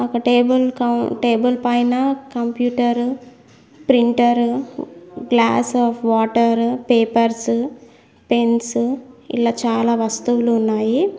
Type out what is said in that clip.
ఒక టేబుల్ కౌం టేబుల్ పైన computer printer glass of water papers pens ఇలా చాలా వస్తువులు ఉన్నాయి.